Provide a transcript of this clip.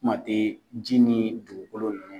Kuma tɛ ji ni dugukolo ma.